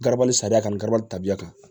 Garabali sariya kan ka gari tabiya kan